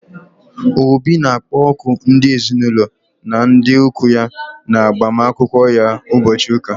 Obi na akpoku ndị ezinaụlọ na ndị ụkwụ ya na agbamakwụkwọ ya ụbọchị ụka